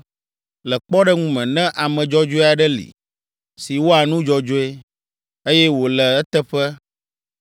“Le kpɔɖeŋu me, ne ame dzɔdzɔe aɖe li, si wɔa nu dzɔdzɔe, eye wole eteƒe